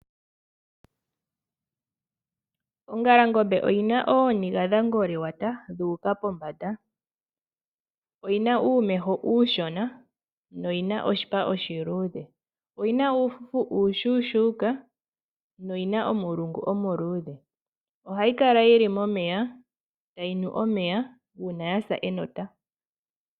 Oongalangombe oyi na ooniga dha ngoliwata, dhu uka pombanda. Oyi na uumeho uushona, yo oyi na oshipa oshiluudhe. Oyi na wo uufufu uushuushuka noyina omulungu omuluudhe. Ohayi kala yili momeya, tayi nu omeya uuna ya sa enota.